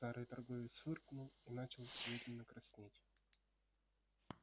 старый торговец фыркнул и начал медленно краснеть